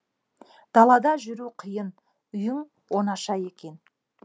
далада жүру қиын үйің оңаша екен